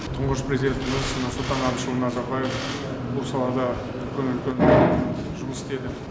тұңғыш президентіміз нұрсұлтан әбішұлы назарбаев бұл салада үлкен үлкен жұмыс істеді